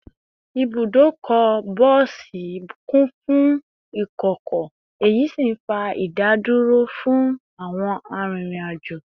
Ibùdókọ̀ bọ́ọ̀sì kún fún ìkọ̀kọ̀, èyí sì ń fa ìdádúró fún àwọn arìnrìn-àjò